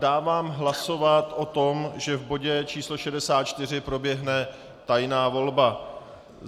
Dávám hlasovat o tom, že v bodě číslo 64 proběhne tajná volba.